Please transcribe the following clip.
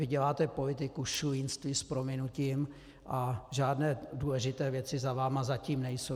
Vy děláte politiku šulínství, s prominutím, a žádné důležité věci za vámi zatím nejsou.